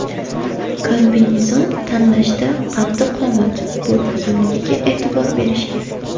Kombinezon tanlashda qaddi-qomat, bo‘y uzunligiga e’tibor berish kerak.